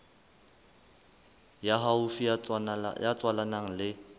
ya haufi ya tswalanang le